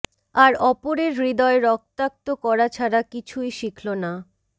আর অপরের হৃদয় রক্তাক্ত করা ছাড়া কিছুই শিখলো না